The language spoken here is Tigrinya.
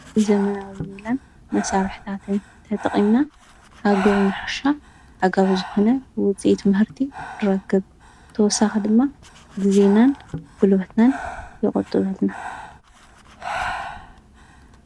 ዘመናዊ ሚላን መሣርሕታትን ተጥቕንና ካግሩንሓሻ ኣጋብ ዝኾነ ውፂት ምህርቲ ድረክብ ተወሳኽ ድማ ግዜናን ጕሉበትናን ይቖጡበትና፡፡